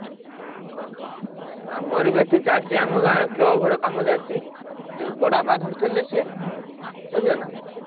ଓହୋ। ଆମରି ବା ଏଠି ଚାଲିଛି ଆମ ଗାଁ club ଘର କାମ ଚାଲିଛି ଯୋଉ ବଡାପା ଧରିଥିଲେ ସେ ବୁଝିଲ ନାଁ